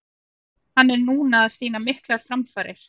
Hann er núna að sýna miklar framfarir.